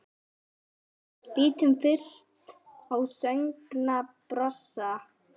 Lítum fyrst á sögnina brosa